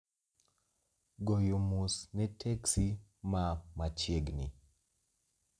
Goyo mos ne teksi maa machiegni